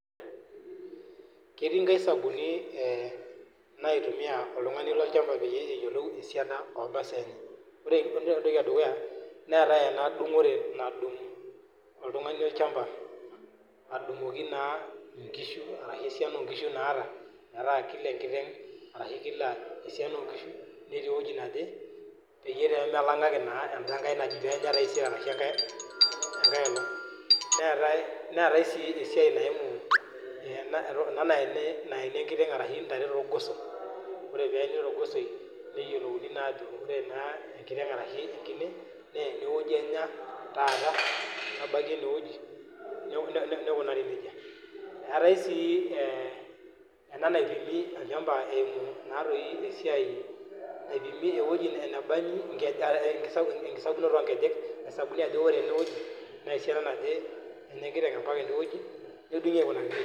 Ketii inkaisabuni naitumia oltun'ani lolchampa peyiee eyiolou esiana omasaa enyenyek ore entoki edukuya neetae ena dung'ore nadung' oltung'ani olchampa adung'oki naa inkishu arashu esiana oo nikishu naata metaa kila enkiteng' arashu esiana oo nkishu netii eweji naje peyie pemelang'aki naa enda nkae najii peenya taisere arashu enkae olong' neetae sii esiay naimu ena naeli enkiteng' arashu intare toorgoso oree peyie eene torgosoi neyiolouni naa ajoo oree naa enkiteng' arashu enkine naa ene weji enyaa taata nebaiki endee weji neikunari nejia eetae sii ena naipim olchampa naipimi eweji nebanji onkisakunoto oo nkejek nadol ajo inkulie oree enee weji naa erishata naje enya enkiteng' mpaakaa eneweji nedungui aikunaki nejia.